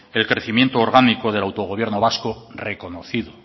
el crecimiento orgánico del autogobierno vasco reconocido